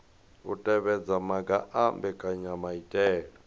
u tevhedza maga a mbekanyamaitele